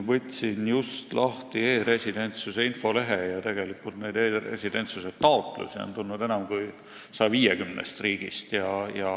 Võtsin just lahti e-residentsuse infolehe ja sealt selgub, et tegelikult on e-residentsuse taotlusi tulnud enam kui 150 riigist.